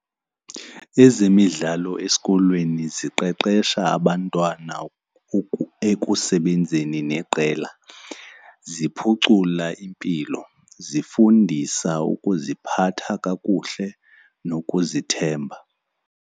Ezemidlalo esikolweni ziqeqesha abantwana ekusebenzeni neqela. Ziphucula impilo, zifundisa ukuziphatha kakuhle nokuzithemba.